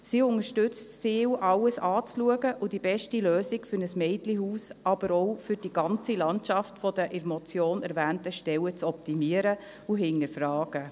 Wir unterstützen das Ziel, alles anzuschauen und die beste Lösung für ein Mädchenhaus, aber auch für die ganze Landschaft der in der Motion erwähnten Stellen zu optimieren und zu hinterfragen.